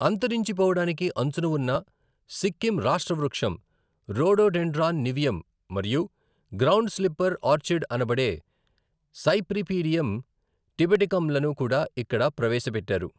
అంతరించిపోవడానికి అంచున ఉన్న సిక్కిం రాష్ట్ర వృక్షం రోడోడెండ్రాన్ నివియం మరియు గ్రౌండ్ స్లిప్పర్ ఆర్చిడ్ అనబడే సైప్రిపీడియం టిబెటికమ్లను కూడా ఇక్కడ ప్రవేశపెట్టారు.